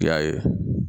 I y'a ye